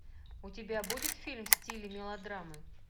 у тебя будет фильм в стиле мелодрамы